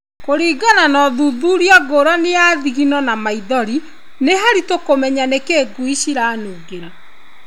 Kũringana na ũthuthuria ngũrani nĩ thigino na maithori, nĩ haritũ kũmenya nĩkĩ ngui ciranungĩra.